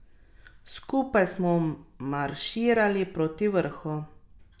Skupaj smo marširali proti vrhu.